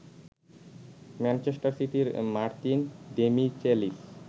Manchester সিটির Martin Demichelis